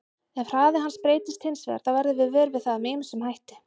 Ef hraði hans breytist hins vegar þá verðum við vör við það með ýmsum hætti.